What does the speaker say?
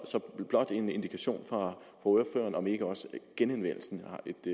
så blot en indikation fra ordføreren om ikke også genanvendelsen